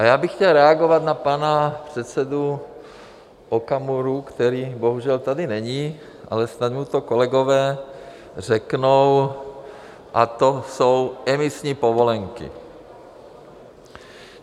A já bych chtěl reagovat na pana předsedu Okamuru, který bohužel tady není, ale snad mu to kolegové řeknou, a to jsou emisní povolenky.